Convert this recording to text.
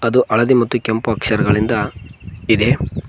ಇದು ಹಳದಿ ಮತ್ತು ಕೆಂಪು ಅಕ್ಷರಗಳಿಂದ ಇದೆ.